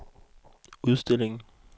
udstillingen